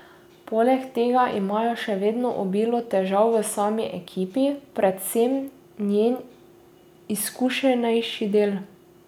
Poleg tega imajo še vedno obilo težav v sami ekipi, predvsem njen izkušenejši del.